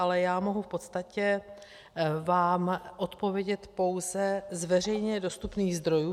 Ale já mohu v podstatě vám odpovědět pouze z veřejně dostupných zdrojů.